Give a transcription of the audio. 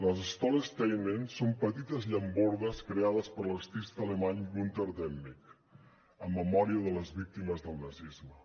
les stolpersteine són petites llambordes creades per l’artista alemany gunter demnig en memòria de les víctimes del nazisme